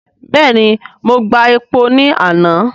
Bẹ́ẹ̀ni, mo gba epo ní àná.